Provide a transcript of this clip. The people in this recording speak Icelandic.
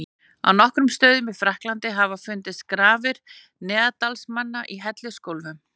Á nokkrum stöðum í Frakklandi hafa fundist grafir neanderdalsmanna í hellisgólfum.